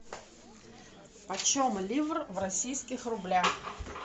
почем ливр в российских рублях